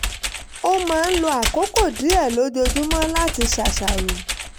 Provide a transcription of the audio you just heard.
ó máa ń lo àkókò díẹ̀ lójoojúmọ́ láti ṣàṣàrò